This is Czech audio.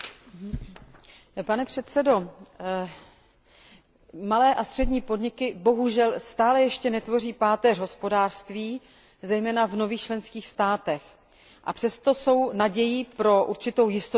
Pane předsedo, malé a střední podniky bohužel stále ještě netvoří páteř hospodářství, zejména v nových členských státech, a přesto jsou nadějí pro určitou jistotu zaměstnanosti.